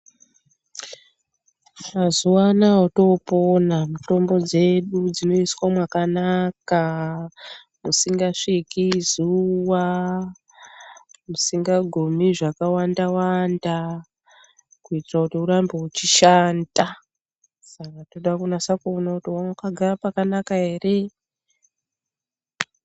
Mazuva anaya otoopona, mitombo dzedu dzinoiswa mwakanaka. Musingasviki zuwa. Musingagumi zvakawanda wanda, kuitira kuti urambe uchishanda . Saka tinodakunasa kuona kuti wakagara pakanaka here.